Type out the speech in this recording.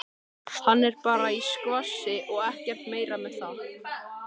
Hann er bara í skvassi og ekkert meira með það.